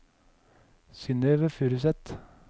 Synnøve Furuseth